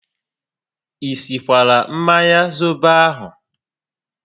I sikwara mmanya zobo ahụ?